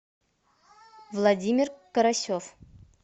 владимир карасев